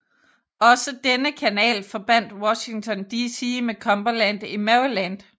Også denne kanal forbandt Washington DC med Cumberland i Maryland